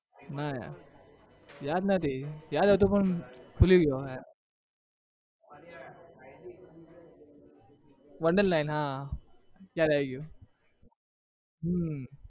ના યાર યાદ નથી યાદ હતું પણ ભૂલી ગયો wonder land હા યાદ આવી ગયું હમ